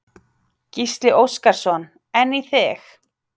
Gísli Óskarsson: En í þig?